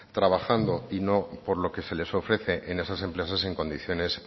trabajando y no por lo que se les ofrece en esas empresas en condiciones